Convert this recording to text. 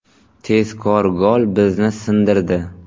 Tezkor gol bizni ‘sindirdi’”.